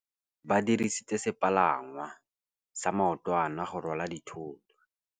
Ba dirisitse sepalangwasa maotwana go rwala dithôtô.